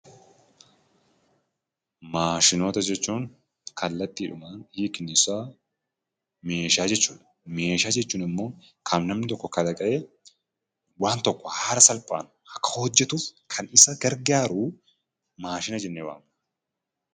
Maashinoota jechuun kallattiidhumaan hiikni isaa meeshaa jechuu dha. Meeshaa jechuun immoo kan namni tokko kalaqee waan tokko haala salphaan akka hojjetuuf kan isa gargaaru maashina jennee waamna.